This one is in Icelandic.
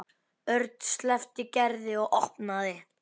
Örn sleppti Gerði og opnaði.